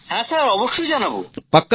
হ্যাঁ জানাবো স্যার